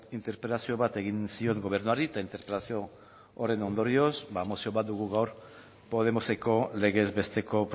interpelazio bat egin zion gobernuari eta interpelazio horren ondorioz mozio bat dugu gaur podemoseko legez besteko